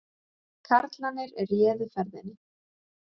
Karlarnir réðu ferðinni